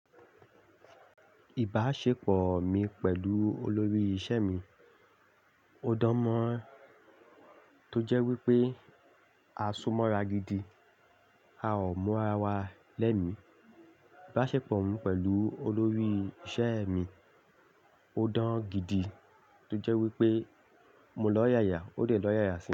Ìbáṣepọ̀ mi pẹ̀lú olórí iṣẹ́ mi ó dán mọ́ran, tó jẹ́ wípé a ṣù mọ́ra gidi, a ò múra wa lẹ́mi. Ìbáṣepọ̀ mi pẹ̀lú olórí iṣẹ́ mi ó dán gidi, tó jẹ́ wípé mo lọ yà yà ó lè lọ yà yà sí mi.